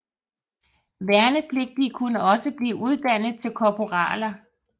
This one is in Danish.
Værnepligtige kunne også blive uddannet til korporaler